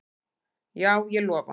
Já, ég lofa